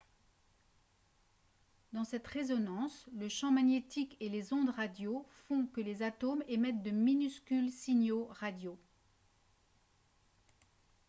dans cette résonance le champ magnétique et les ondes radio font que les atomes émettent de minuscules signaux radio